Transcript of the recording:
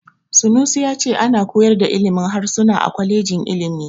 Sanusi ya ce ana koyar da ilimin harsuna a kwalejin ilimi.